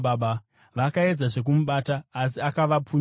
Vakaedzazve kumubata, asi akavapunyuka.